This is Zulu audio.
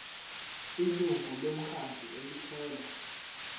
ilungu lomkhandlu elithola